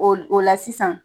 O o la sisan